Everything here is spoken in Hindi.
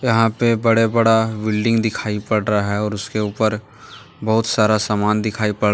यहां पे बड़े बड़ा बिल्डिंग दिखाई पड़ रहा है और उसके ऊपर बहुत सारा सामान दिखाई पड़ --